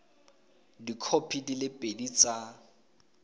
dikhopi di le pedi tsa